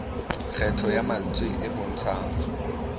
kgetho ya mantswe e bontshang